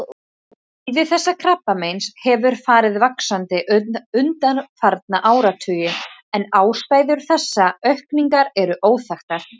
Tíðni þessa krabbameins hefur farið vaxandi undanfarna áratugi en ástæður þessarar aukningar eru óþekktar.